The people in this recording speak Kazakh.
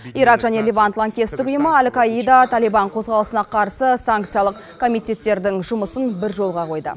ирак және левант лаңкестік ұйымы әл каида талибан қозғалысына қарсы санкциялық комитеттердің жұмысын бір жолға қойды